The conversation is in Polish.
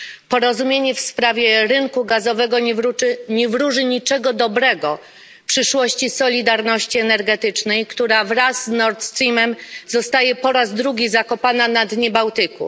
Porozumienie w sprawie rynku gazowego nie wróży niczego dobrego przyszłości solidarności energetycznej, która wraz z Nord Streamem zostaje po raz drugi zakopana na dnie Bałtyku.